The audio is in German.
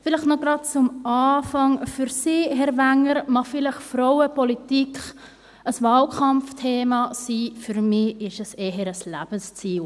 Gleich zu Beginn: Für Sie, Herr Wenger, mag Frauenpolitik vielleicht ein Wahlkampfthema sein, für mich ist es eher ein Lebensziel.